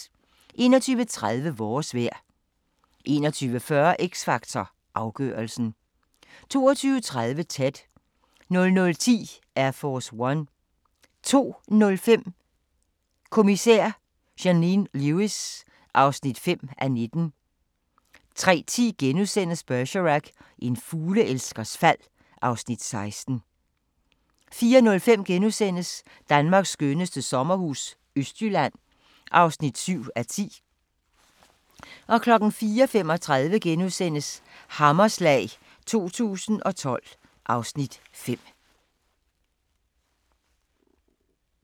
21:30: Vores vejr 21:40: X Factor Afgørelsen 22:30: Ted 00:10: Air Force One 02:05: Kommissær Janine Lewis (5:19) 03:10: Bergerac: En fugleelskers fald (Afs. 16)* 04:05: Danmarks skønneste sommerhus - Østjylland (7:10)* 04:35: Hammerslag 2012 (Afs. 5)*